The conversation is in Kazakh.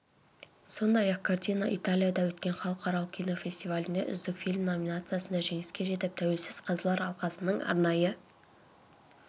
сондай-ақ картина италияда өткен халықаралық кинофестивалінде үздік фильм номинациясында жеңіске жетіп тәуелсіз қазылар алқасының арнайы